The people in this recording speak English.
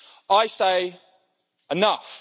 I say enough'.